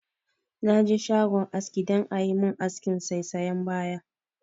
Na je shagon aski dan a yi mun askin saisayan baya